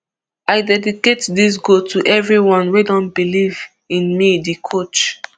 i dedicate dis goal to evri one wey don believe in me di coach